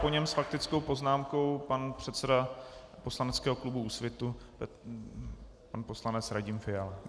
Po něm s faktickou poznámkou pan předseda poslaneckého klubu Úsvit pan poslanec Radim Fiala.